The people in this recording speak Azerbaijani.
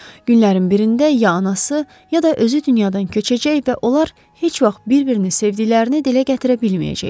Günlərin birində ya anası, ya da özü dünyadan köçəcək və onlar heç vaxt bir-birini sevdiklərini dilə gətirə bilməyəcəklər.